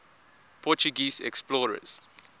portuguese explorers